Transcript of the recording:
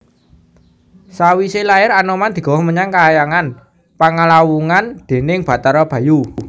Sawisé lair Anoman digawa menyang kahyangan Panglawungan déning Bathara Bayu